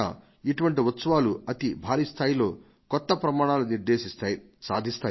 ఇటువంటి ఉత్సవాలు అతి భారీ స్థాయిలో కొత్త ప్రమాణాలను నిర్దేశిస్తాయి సాధిస్తాయి